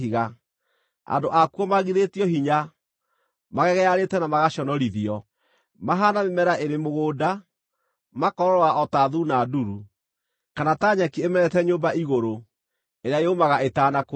Andũ akuo maagithĩtio hinya, magegearĩte na magaconorithio. Mahaana mĩmera ĩrĩ mũgũnda, makoororoa o ta thuuna nduru, kana ta nyeki ĩmerete nyũmba igũrũ, ĩrĩa yũmaga ĩtanakũra.